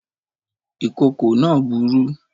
Ìkòkò náà burú